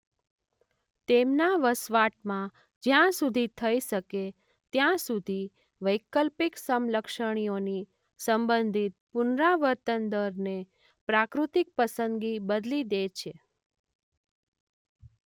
તેમના વસવાટમાં જ્યાં સુધી થઇ શકે ત્યાં સુધી વૈકલ્પિક સમલક્ષણીઓની સંબંધિત પુનરાવર્તનદરને પ્રાકૃતિક પસંદગી બદલી દે છે.